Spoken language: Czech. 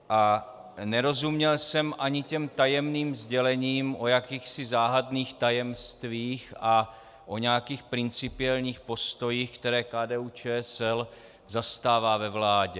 A nerozuměl jsem ani těm tajemným sdělením o jakýchsi záhadných tajemstvích a o nějakých principiálních postojích, které KDU-ČSL zastává ve vládě.